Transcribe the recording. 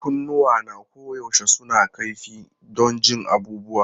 Kunnuwana koyaushe suna kaifi don jin abubuwa.